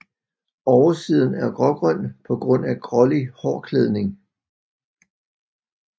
Oversiden er grågrøn på grund af grålig hårklædning